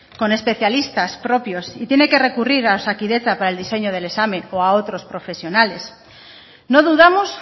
con especialistas propios y tiene que recurrir a osakidetza para el diseño del examen o a otros profesionales no dudamos